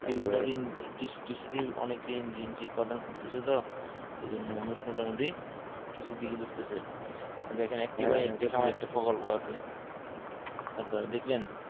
দিন দিন কৃষিতেই অনেকেই উৎপাদন করতেছে তো এজন্য মানুষ মোটামুটি কৃষির দিকে ঝুকতেছে এই দেখেন একটি প্রকল্প আছে সরকারের দেখবেন